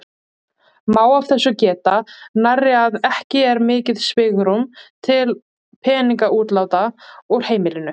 Má af þessu geta nærri að ekki er mikið svigrúm til peningaútláta úr heimilinu.